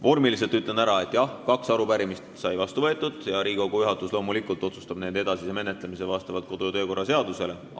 Vormiliselt ütlen enne ära, et jah, kaks arupärimist sai vastu võetud ja Riigikogu otsustab nende edasise menetlemise loomulikult kodu- ja töökorra seaduse kohaselt.